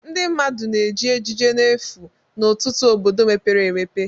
Ndị mmadụ na-eji ejiji n'efu n'ọtụtụ obodo mepere emepe